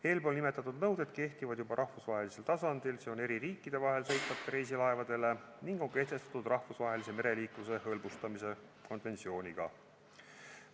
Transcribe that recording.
Eespool nimetatud nõuded kehtivad juba rahvusvahelisel tasandil, st eri riikide vahel sõitvatele reisilaevadele, ning on kehtestatud rahvusvahelise mereliikluse hõlbustamise konventsiooniga.